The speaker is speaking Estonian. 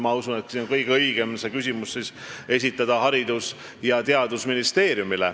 Ma usun, et kõige õigem on esitada see küsimus Haridus- ja Teadusministeeriumile.